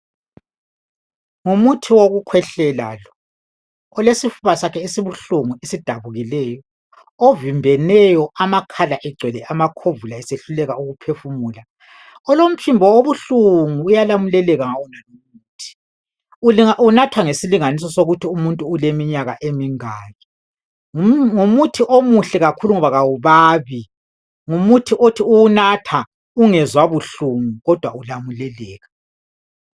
Ngumuthi wokukhwehlela lo, olesifuba sakhe esidabukileyo esibuhlungu, ovimbeneyo amakhala egcwele amakhovula esehluleka ukuphefumula, olomphimbo obuhlungu uyalamuleleka ngawonalo umuthi, unathwa ngesilinganiso sokuthi umuntu uleminyaka emingaki. Ngumuthi omuhle kakhulu ngoba kawubabi ngumuthi othi uwunatha ungezwa buhlungu kodwa ulamuleleka.